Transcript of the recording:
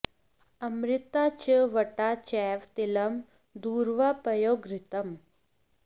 अमृता च वटा चैव तिलं दूर्वा पयो घृतम्